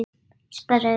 Ég sperri eyrun.